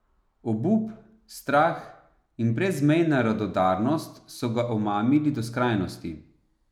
Obup, strah in brezmejna radodarnost so ga omamili do skrajnosti.